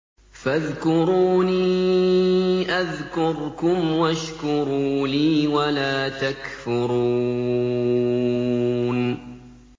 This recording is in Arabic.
فَاذْكُرُونِي أَذْكُرْكُمْ وَاشْكُرُوا لِي وَلَا تَكْفُرُونِ